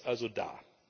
Das Geld ist also da.